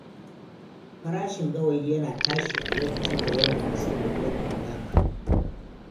Farashin gawayi yana tashi a lokacin da yanayin sanyi ya kankama.